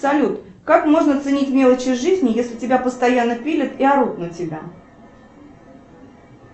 салют как можно ценить мелочи жизни если тебя постоянно пилят и орут на тебя